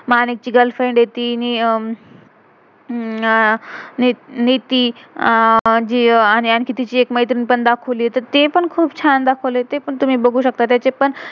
मानिक ची girlfriend girlfriend येती आह नेति~नेति आरणि आणखी तिची एक मैत्रिण पण दाखाव्लिये तर ते पण खुप छान दाख्व्लिये, ते पण तुम्ही बघू शकता. तेचे पण